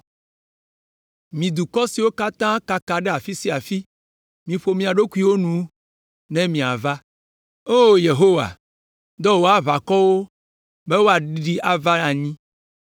Mi dukɔ siwo kaka ɖe afi sia afi, miƒo mia ɖokuiwo nu ƒu ne miava. “O Yehowa, dɔ wò aʋakɔwo be woaɖiɖi ava anyi!